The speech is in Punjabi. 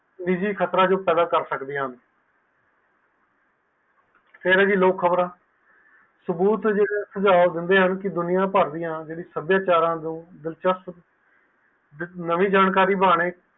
ਨਿਜੀ ਖ਼ਰਤਾ ਤੋਂ ਪੈਦਾ ਕਰ ਸਕਦੀਆਂ ਹਨ ਫੇਰ ਵੀ ਲੋਕ ਖ਼ਬਰਆ ਸਬੂਤ ਤੇ ਸੁਝਾਉ ਦਿੰਦੇ ਹਨ ਤਾਕਿ ਦੁਨੀਆ ਪਾਰ ਦੀਆ ਸਾਬਿਆਚਾਰਾ ਤੋਂ ਨਵੀ ਜਾਣਕਾਰੀ ਲੈਂਦੇ